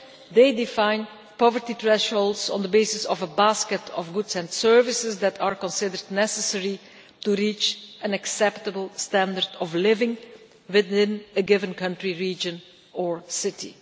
They define poverty thresholds on the basis of a basket of goods and services that are considered necessary to reach an acceptable standard of living within a given country, region or city.